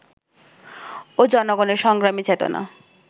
ও জনগণের সংগ্রামী চেতনা